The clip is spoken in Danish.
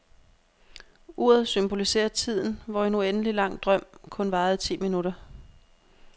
Uret symboliserer tiden, hvor en uendelig lang drøm kun varede ti minutter.